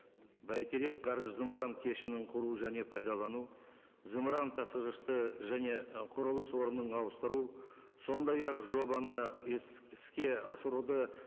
бәйтерек ғарыш зымыран кешенін құру және пайдалану зымыран тасығышты және құрылыс орнын ауыстыру сондай ақ жобаны іске асыруды